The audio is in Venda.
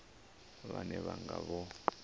vhane vha nga vha vho